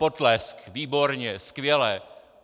Potlesk, výborně, skvěle.